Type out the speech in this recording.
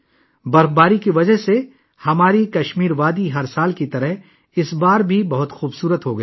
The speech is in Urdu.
برف باری کی وجہ سے ہماری وادی کشمیر ہر سال کی طرح اس بار بھی بہت خوبصورت ہو گئی ہے